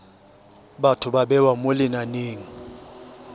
batho ba bewa mo lenaneng